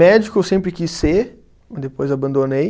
Médico eu sempre quis ser, depois abandonei.